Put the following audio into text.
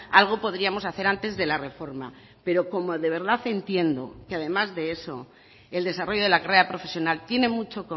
algo podríamos hacer antes de la reforma pero como de verdad entiendo que además de eso el desarrollo de la carrera profesional tiene mucho